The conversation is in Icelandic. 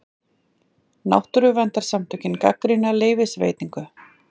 Náttúruverndarsamtök gagnrýna leyfisveitingu